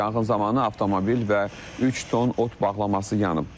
Yanğın zamanı avtomobil və üç ton ot bağlaması yanıb.